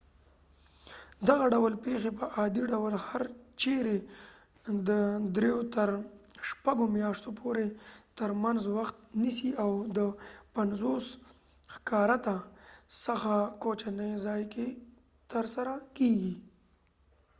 دغه ډول پیښې په عادي ډول هر چیرې د درېو تر شپږو میاشتو پورې تر منځ وخت نیسي او د 50 هکتاره څخه کوچنی ځای کې ترسره کېږي